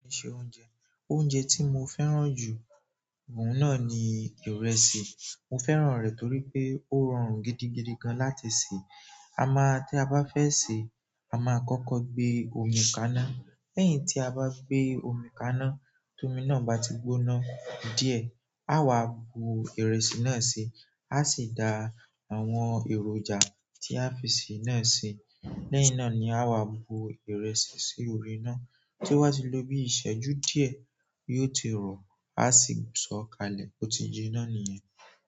Iṣẹ́ oúnjẹ. Oúnjẹ tí mo fẹ́ràn jù, òun náà ni ìrèsì. Mo fẹ́ràn rẹ̀ torí pé ó rọrùn gidigidi gan láti sè. A máa tí a bá fẹ́ se, a máa kọ́kọ́ gbé omi kaná. Lẹ́yìn tí a bá gbé omi kaná, tómi náà bá ti gbóná díẹ̀, a wà bu ìrẹsì náà sí, a sì da àwọn èròjà tí a fi sé náà sí. Lẹ́inà ni a wà bu ìrẹsì sí orí iná toba ti lóbí ìṣẹ́jú díẹ̀ yíó ti rọ, a sì sọ̀ kalẹ̀. Ó ti jiná nìyẹn.